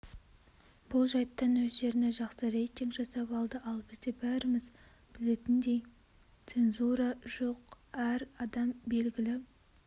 бұл жайттан өздеріне жақсы рейтинг жасап алды ал бізде бәріміз білетіндейцензура жоқ әр адам белгілі